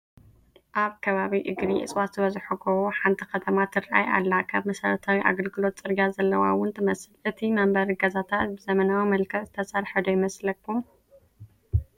ኣብ ከባቢ እግሪ እፀዋት ዝበዝሖ ጎቦ ሓንቲ ከተማ ትራኣይ ኣላ፡፡ ካብ መሰረታዊ ኣገልግሎት ፅርግያ ዘለዋ ውን ትመስል፡፡ እቲ መንበሪ ገዛታት ብዘመናዊ መልክዕ ዝተሰርሐ ዶ ይመስለኩም?